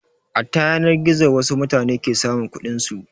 A ta yanar gizo wasu mutane ke samun kuɗin su.